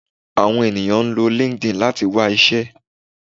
Àwọn ènìyàn ń lo Linkedin láti wá iṣẹ́